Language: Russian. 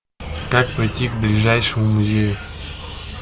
как пройти к ближайшему музею